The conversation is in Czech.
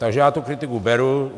Takže já tu kritiku beru.